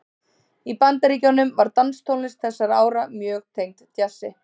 Í Bandaríkjunum var danstónlist þessara ára mjög tengd djassi.